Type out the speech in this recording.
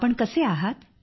आपण कसे आहात